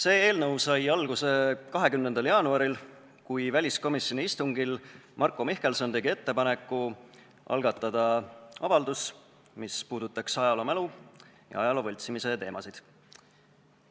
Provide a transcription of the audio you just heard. See eelnõu sai alguse 20. jaanuaril, kui väliskomisjoni istungil tegi Marko Mihkelson ettepaneku algatada avaldus, mis puudutaks ajaloomälu ja ajaloo võltsimise teemasid.